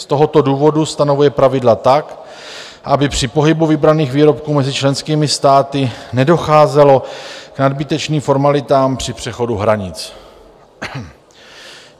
Z tohoto důvodu stanovuje pravidla tak, aby při pohybu vybraných výrobků mezi členskými státy nedocházelo k nadbytečným formalitám při přechodu hranic.